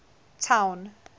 town